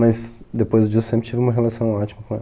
Mas depois disso eu sempre tive uma relação ótima com ela.